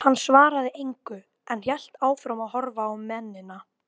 Hann svaraði engu, en hélt áfram að horfa á mennina.